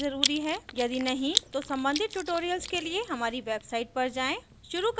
यदि नहीं तो सम्बंधित tutorials के लिए हमारी website पर जाएँ